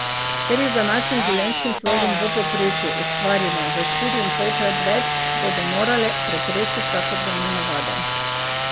Ker jih z današnjim življenjskim slogom v povprečju ustvarimo za štiriinpolkrat več, bodo morale pretresti vsakodnevne navade.